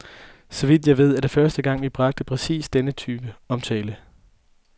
Så vidt jeg ved, er det første gang, vi bragte præcis den type omtale.